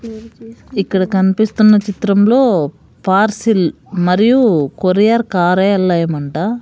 ఇక్కడ కన్పిస్తున్న చిత్రంలో పార్శిల్ మరియు కొరియర్ కార్యాలయం అంట --